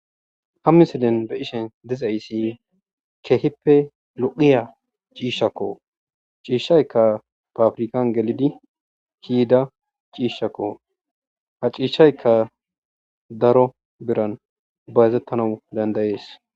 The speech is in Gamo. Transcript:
Ha missilen be'shshen dizayssi kehippe loo'a cishakko. Cishshaykka papirkan gelidi kei'dda cishakko. Ha cishaykka daro birran bayzethanawu dandae'ss.